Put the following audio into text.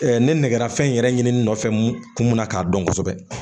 ne nɛgɛ fɛn in yɛrɛ ɲini nɔfɛ kun munna k'a dɔn kosɛbɛ